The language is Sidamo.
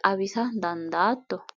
xawisa dandaatto?